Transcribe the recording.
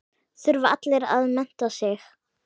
Þurfa allir að mennta sig?